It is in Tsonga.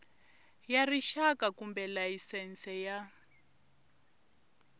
ya rixaka kumbe layisense ya